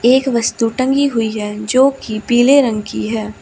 एक वस्तु टंगी हुई है जो की पीले रंग की है।